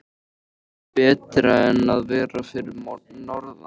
Er það betra en að vera fyrir norðan?